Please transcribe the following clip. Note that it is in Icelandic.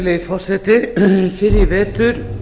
virðulegi forseti fyrr í vetur